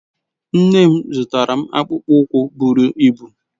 Nne m zụtara m akpụkpọ ụkwụ buru ibụ.